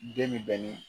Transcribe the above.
Den min bɛ ni